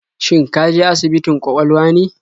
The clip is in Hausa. Shin ka je asibitin kwakwalwa ne?